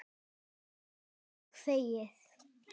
Sama og þegið.